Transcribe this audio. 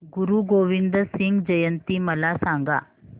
गुरु गोविंद सिंग जयंती मला सांगा